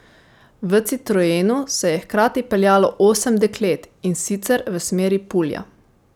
V citroenu se je hkrati peljalo osem deklet, in sicer v smeri Pulja.